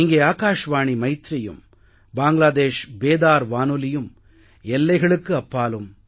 இங்கே ஆகாஷ்வாணி மைத்ரீயும் பாங்க்ளாதேஷ் பேதார் வானொலியும் எல்லைகளுக்கு அப்பாலும்